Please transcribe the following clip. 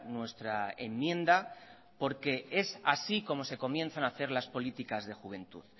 nuestra enmienda porque es así como se comienzan a hacer las políticas de juventud